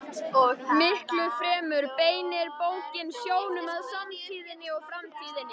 Miklu fremur beinir bókin sjónum að samtíðinni og framtíðinni.